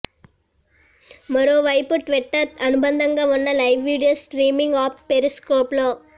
మరోవైపు ట్విట్టర్ అనుబంధంగా ఉన్న లైవ్ వీడియో స్ట్రీమింగ్ ఆప్ పెరిస్కోప్లో